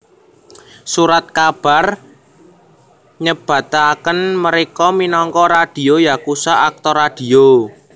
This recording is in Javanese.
Surat kabar nyebataken mereka minangka radio yakusha aktor radio